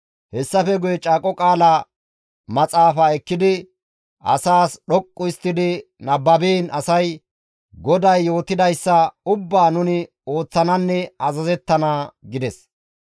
Hessafe guye Caaqo Qaala Maxaafaa ekkidi asaas dhoqqu histtidi nababiin asay, «GODAY yootidayssa ubbaa nuni ooththananne azazettana» gides.